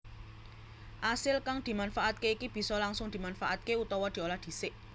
Asil kang dimanfaatke iki bisa langsung dimanfaatké utawa diolah dhisik